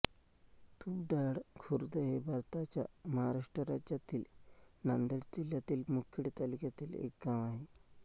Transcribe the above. तुपडाळ खुर्द हे भारताच्या महाराष्ट्र राज्यातील नांदेड जिल्ह्यातील मुखेड तालुक्यातील एक गाव आहे